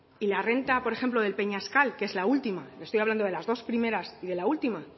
y la renta por ejemplo del peñascal que es la última le estoy hablando de las dos primeras y de la última